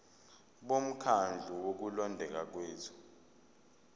bomkhandlu wokulondeka kwethu